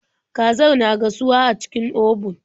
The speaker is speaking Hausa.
Kazar na gasuwa a cikin obun.